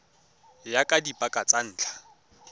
ya ka dipaka tsa ntlha